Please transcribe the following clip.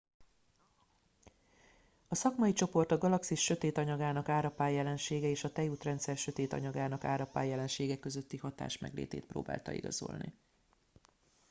a szakmai csoport a galaxis sötét anyagának árapály jelensége és a tejútrendszer sötét anyagának árapály jelensége közötti hatás meglétét próbálta igazolni